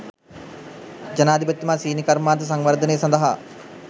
ජනාධිපතිතුමා සීනි කර්මාන්ත සංවර්ධනය සඳහා